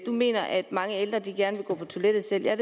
mener at mange ældre gerne vil gå på toilettet selv det er